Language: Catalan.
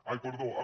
ai perdó amb